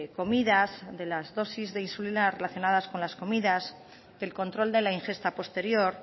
comidas de las dosis de insulina relacionadas con las comidas del control de la ingesta posterior